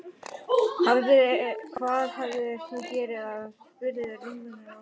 Hvað hefur þú gert af þér? spurði rumurinn ógnandi.